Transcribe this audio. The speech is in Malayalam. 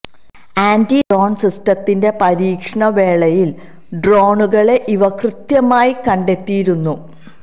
ആന്റി ഡ്രോണ് സിസ്റ്റത്തിന്റെ പരീക്ഷണ വേളയില് ഡ്രോണുകളെ ഇവ കൃത്യമായി കണ്ടെത്തിയിരുന്നു